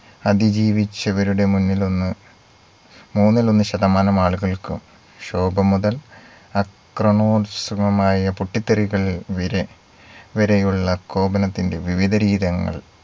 അതിജീവിച്ചവരുടെ മുന്നിലൊന്ന് മൂന്നിലൊന്ന് ശതമാനം ആളുകൾക്കും ശോകം മുതൽ അക്രമോത്സുകമായ പൊട്ടിത്തെറികൾ വിരെ വരെയുള്ള കോപനത്തിന്റെ വിവിധ രീതങ്ങൾ